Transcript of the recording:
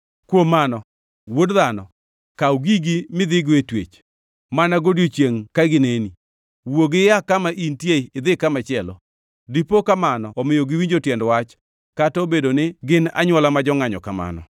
“Kuom mano, wuod dhano, kaw gigi midhigo e twech, mana godiechiengʼ ka gineni, wuogi ia kama intie idhi kamachielo. Dipo ka mano omiyo giwinjo tiend wach, kata obedo ni gin anywola ma jongʼanyo kamano.